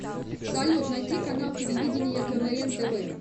салют найти канал телевидения квн тв